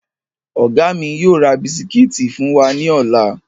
Ọ̀gá mi yóò ra bisikíìtì fún wa ní ọ̀la